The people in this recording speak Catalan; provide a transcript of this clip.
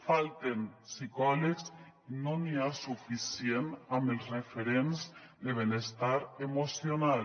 falten psicòlegs no hi ha suficient amb els referents de benestar emocional